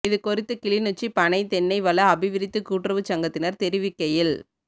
இது குறித்து கிளிநொச்சி பனை தென்னை வள அபிவிருத்திக் கூட்டுறவுச் சங்கத்தினர் தெரிவிக்கையில்